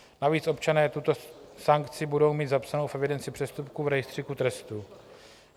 Navíc občané tuto sankci budou mít zapsánu v evidenci přestupků v rejstříku trestů.